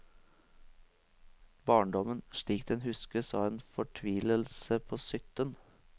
Barndommen slik den huskes av en fortvilelse på sytten.